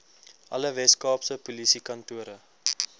alle weskaapse polisiekantore